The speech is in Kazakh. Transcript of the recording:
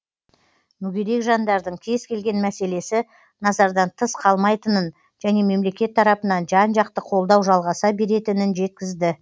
мүгедек жандардың кез келген мәселесі назардан тыс қалмайтынын және мемлекет тарапынан жан жақты қолдау жалғаса беретінін жеткізді